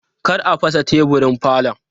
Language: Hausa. Kar a fasa teburin falon!